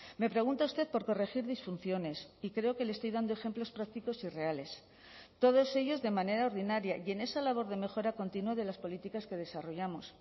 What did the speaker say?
me pregunta usted por corregir disfunciones y creo que le estoy dando ejemplos prácticos y reales todos ellos de manera ordinaria y en esa labor de mejora continua de las políticas que desarrollamos